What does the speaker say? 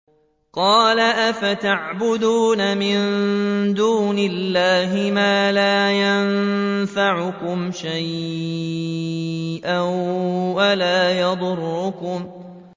قَالَ أَفَتَعْبُدُونَ مِن دُونِ اللَّهِ مَا لَا يَنفَعُكُمْ شَيْئًا وَلَا يَضُرُّكُمْ